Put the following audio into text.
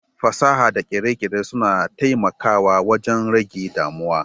Fasaha da kere-kere suna taimakawa wajen rage damuwa